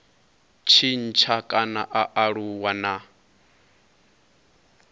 tshintsha kana a aluwa na